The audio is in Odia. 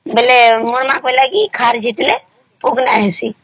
ବେଲେ ମୋର ମା କହିଲା ଖାର ଝିଟିଲେ